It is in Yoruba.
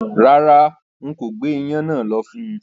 Rárá, n kò gbé iyán náà lọ fún-un